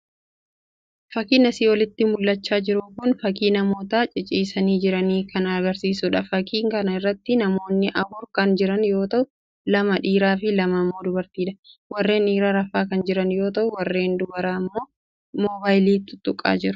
Fakiin asii olitti mul'achaa jiru kun fakii namoota ciciisaa jiranii kan agarsiisudha. Fakii kana irratti namoonni afur kan jiran yoo ta'u lama dhiiraa fi lama immoo dubartiidha. Warreen dhiiraa rafaa kan jiran yoo ta'u warreen dubaraa immoo moobaayilii tutuqaa jiru.